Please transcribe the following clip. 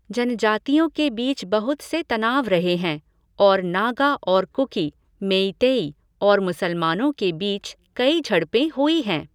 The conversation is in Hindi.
जनजातियों के बीच बहुत से तनाव रहे हैं और नागा और कुकी, मेइतेई और मुसलमानों के बीच कई झड़पें हुई हैं।